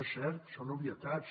és cert són obvietats